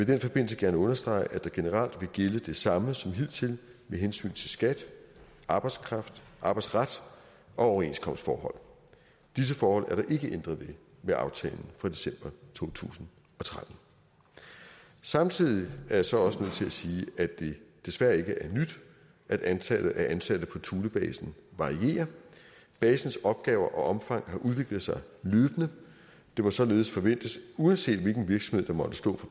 den forbindelse gerne understrege at der generelt vil gælde det samme som hidtil med hensyn til skat arbejdsret arbejdsret og overenskomstforhold disse forhold er der ikke ændret på med aftalen fra december to tusind og tretten samtidig er jeg så også nødt til sige at det desværre ikke er nyt at antallet af ansatte på thulebasen varierer basens opgaver og omfang har udviklet sig løbende det må således forventes uanset hvilken virksomhed der måtte stå